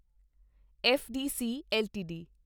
FDC LTD